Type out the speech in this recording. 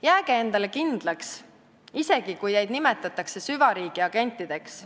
Jääge endale kindlaks, isegi kui teid nimetatakse süvariigi agentideks.